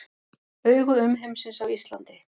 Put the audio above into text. Augu umheimsins á Íslandi